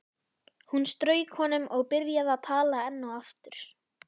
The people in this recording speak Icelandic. Hún strauk honum og byrjaði að tala enn og aftur.